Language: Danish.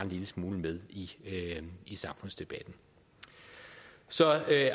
lille smule med i samfundsdebatten så